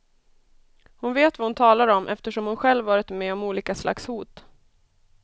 Hon vet vad hon talar om eftersom hon själv varit med om olika slags hot.